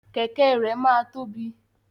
Kẹkẹ rẹ máa tóbi.